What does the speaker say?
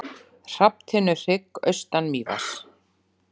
Hrafntinnuhrygg austan Mývatns.